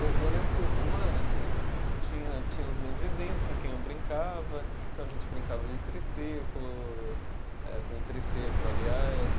Eu eu lembro que uma assim, tinha tinha os meus vizinhos com quem eu brincava, então a gente brincava de triciclo, eh com um triciclo aliás.